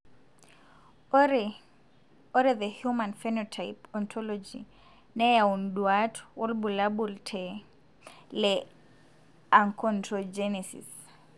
Ore the human phenotype ontology neyau nduat wobulabul le Achondrogenesis.